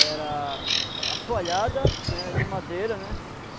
Era assoalhada né, de madeira, né?